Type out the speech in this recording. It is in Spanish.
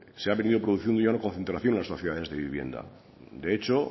se ha venido produciendo ya una concentración en las sociedades de vivienda de hecho